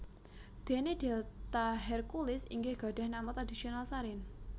Dene delta Herculis inggih gadhah nama tradhisional Sarin